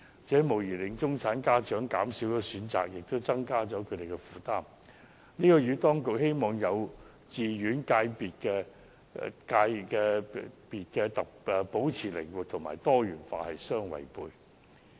這無疑令中產家長的選擇減少，加重他們的負擔，這與當局希望幼稚園界別保持靈活和多元化的目標背道而馳。